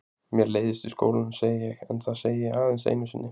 Mér leiðist í skólanum, segi ég en það segi ég aðeins einu sinni.